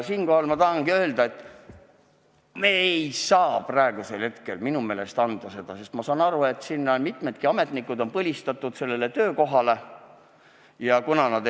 Siinkohal tahangi ma öelda, et minu meelest ei saa me praegu seda ülesannet neile anda, sest ma saan aru, et mitmed sealsed ametnikud on oma töökohale põlistatud.